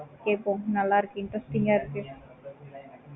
கேப்போம் நல்ல இருக்கு interesting ஆஹ் இருக்கு